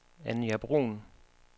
Anja Bruhn